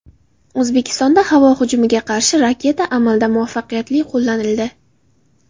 O‘zbekistonda havo hujumiga qarshi raketa amalda muvaffaqiyatli qo‘llanildi .